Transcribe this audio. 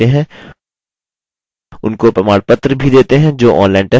उनको प्रमाणपत्र भी देते हैं जो online test pass करते हैं